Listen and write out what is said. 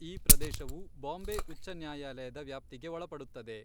ಈ ಪ್ರದೇಶವು ಬಾಂಬೆ ಉಚ್ಚ ನ್ಯಾಯಾಲಯದ ವ್ಯಾಪ್ತಿಗೆ ಒಳಪಡುತ್ತದೆ.